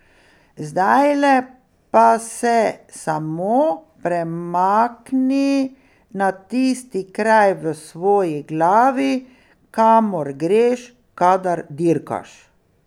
Zdajle pa se samo premakni na tisti kraj v svoji glavi, kamor greš, kadar dirkaš.